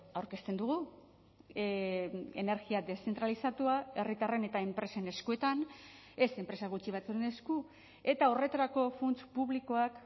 aurkezten dugu energia deszentralizatua herritarren eta enpresen eskuetan ez enpresa gutxi batzuen esku eta horretarako funts publikoak